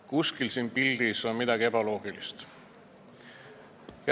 Midagi on siin pildil ebaloogilist.